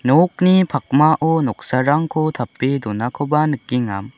nokni pakmao noksarangko tape donakoba nikenga.